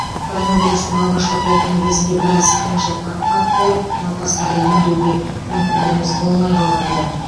коронавирустың алғашқы толқыны кезінде біраз қиыншылыққа тап болып науқастарды емдеуге мүмкіндігіміз болмай қалған еді